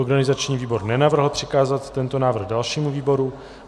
Organizační výbor nenavrhl přikázat tento návrh dalšímu výboru.